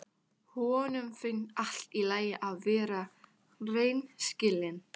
Honum finnst allt í lagi að vera hreinskilinn.